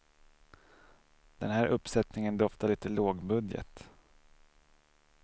Den här uppsättningen doftar lite lågbudget.